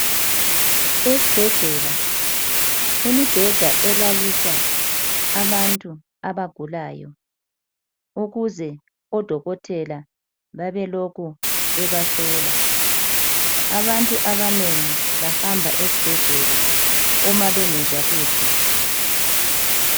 Esibhedlela imibheda elaliswa abantu abagulayo ukuze odokotela babelokhu bebahlola. Abantu abanengi bahamba esibhedlela uma bengezwa kuhle.